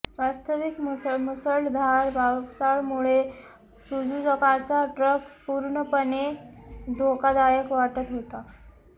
वास्तविक मुसळधार पावसामुळे सुझुकाचा ट्रॅक पूर्णपणे धोकादायक वाटत होता